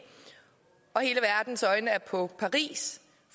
og hele verdens øjne er på paris